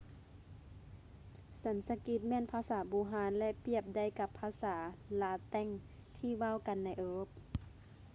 ສັນສະກິດແມ່ນພາສາບູຮານ ແລະ ປຽບໄດ້ກັບພາສາລາແຕັງທີ່ເວົ້າກັນໃນເອີຣົບ